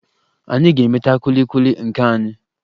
Anyị ga-emeta kwili kwili nke anyị